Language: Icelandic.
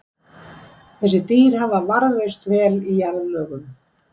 Þessi dýr hafa varðveist vel í jarðlögum.